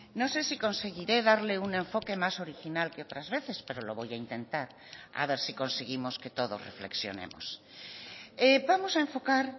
no sé si conseguiré darle un enfoque más original que otras veces pero lo voy a intentar a ver si conseguimos que todos reflexionemos vamos a enfocar